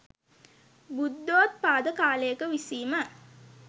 බුද්ධෝත්පාද කාලයක විසීම